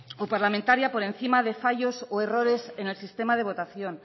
o parlamentario por encima de fallos o errores en el sistema de votación